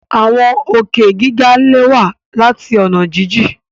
Awọn òkè giga lẹwa lati ọna jijin